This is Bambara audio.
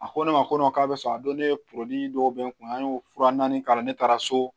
A ko ne ma ko k'a bɛ sɔn a don ne dɔw bɛ n kun an y'o fura naani k'a la ne taara so